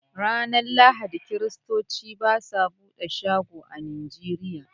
Ranar Lahadi, kiristoci ba su buɗe shago a Nigeria.